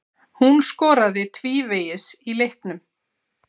Hún skoraði tvívegis í leiknum.